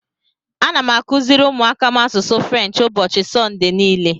Ana m akụziri ụmụaka m asụsụ French ụbọchị Sọnde niile.